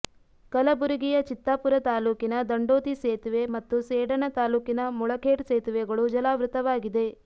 ಕಲಬುರಗಿಯ ಚಿತ್ತಾಪುರ ತಾಲೂಕಿನ ದಂಡೋತಿ ಸೇತುವೆ ಮತ್ತು ಸೇಡಣ ತಾಲೂಕಿನ ಮುಳಖೇಡ್ ಸೇತುವೆಗಳು ಜಲಾವೃತವಾಗಿದೆ